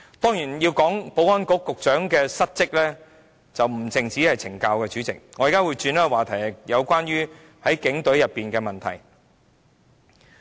當然，保安局局長的失職不單在於懲教署方面，我現在改變話題，談談警隊的問題。